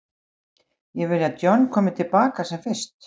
Ég vil að John komi til baka sem fyrst.